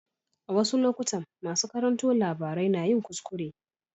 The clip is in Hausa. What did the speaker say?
A wasu lokutan masu karanto labarai na yin kuskure.